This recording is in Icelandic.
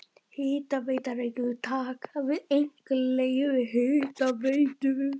Hitaveita Reykjavíkur taka við einkaleyfi Hitaveitu